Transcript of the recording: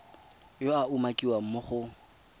yo a umakiwang mo go